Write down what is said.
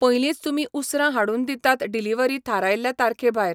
पयलींच तुमी उसरां हाडून दितात डिलिव्हरी थारायल्ल्या तारखे भायर.